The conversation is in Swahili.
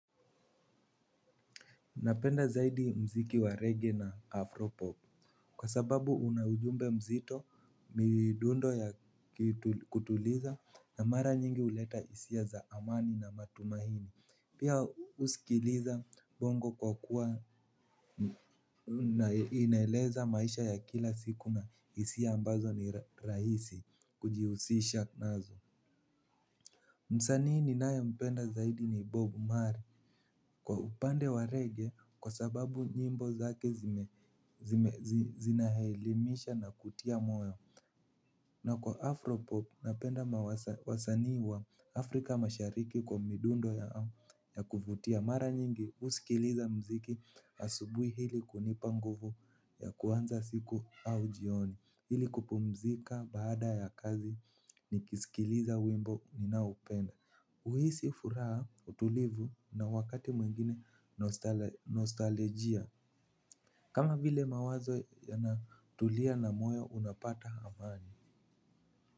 Napenda zaidi mziki wa reggea na afropop. Kwa sababu unajumbe mzito midundo ya kutuliza na mara nyingi uleta isia za amani na matumahini. Pia usikiliza bongo kwa kuwa inaeleza maisha ya kila siku na isia ambazo ni rahisi kujihusisha nazo. Msanii ni naye mpenda zaidi ni bob marley. Kwa upande wa reggea kwa sababu nyimbo zake zinaelimisha na kutia moyo. Na kwa Afropop napenda mawasa wasanii wa Afrika mashariki kwa midundo ya au ya kuvutia mara nyingi uskiliza mziki asubui hili kunipanguvu ya kuanza siku au jioni. Hili kupumzika baada ya kazi nikisikiliza wimbo ninaoupenda. Uhisi furaha utulivu na wakati mwingine nostalijia. Kama vile mawazo yanatulia na moyo unapata amani.